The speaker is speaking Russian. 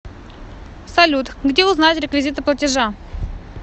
салют где узнать реквизиты платежа